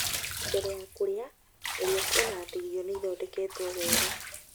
Mbere ya kũrĩa, geria kuona atĩ irio nĩ ithondeketwo wega.